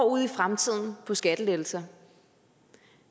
ud i fremtiden på skattelettelser